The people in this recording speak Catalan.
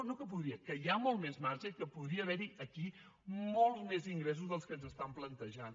no que podria que hi ha molt més marge i que podria haver hi aquí molts més ingressos dels que ens estan plantejant